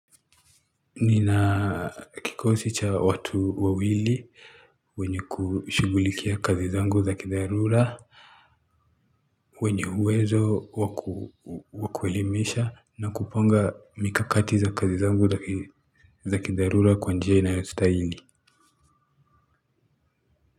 Nina kikosi cha watu wawili wenye kushughulikia kazi zangu za kidharura wenye uwezo wa kuelimisha na kupanga mikakati za kazi zangu za kidharura kwa njia inayostahili.